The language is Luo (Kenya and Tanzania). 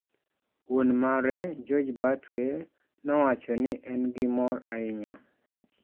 Wuon mare, George Batwe nowacho ni en gimor ahinya.